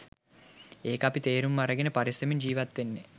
එක අපි තේරුම් අරගෙන පරිස්සමෙන් ජීවත් වෙන්නේ.